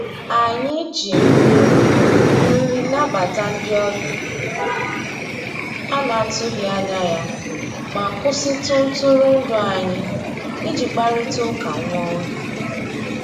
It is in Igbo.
Anyị jì nrì nrì nàbàtà ndị ọbìà a nà-atụghị anyà yá mà kwụsịtụ ntụrụndụ anyị ìjì kparịtà ụkà nwá ògè.